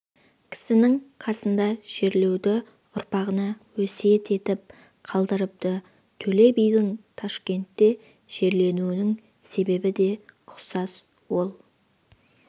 кісінің қасына жерлеуді ұрпағына өсиет етіп қалдырыпты төле бидің ташкентте жерленуінің себебі де ұқсас ол